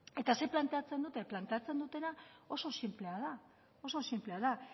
zer planteatzen dute planteatzen dutena oso sinplea da